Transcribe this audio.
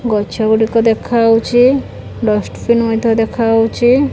ଗଛ ଗୁଡ଼ିକ ଦେଖା ହଉଚି ଡଷ୍ଟବିନ୍ ମଧ୍ୟ ଦେଖା ହଉଚି।